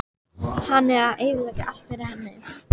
Hann er að eyðileggja allt fyrir henni.